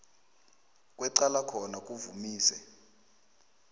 kwecala khona kuvamise